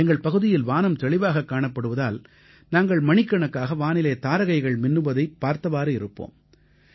எங்கள் பகுதியில் வானம் தெளிவாகக் காணப்படுவதால் நாங்கள் மணிக்கணக்காக வானிலே தாரகைகள் மின்னுவதைப் பார்த்தவாறு இருப்போம்